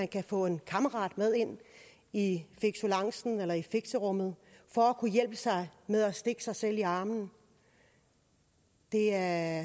kan få en kammerat med ind i fixelancen eller i fixerummet for at hjælpe sig med at stikke sig selv i armen er